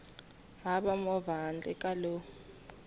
hava movha handle ka lowu